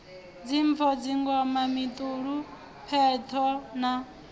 dzimpfo dzingoma mituli pheṱho na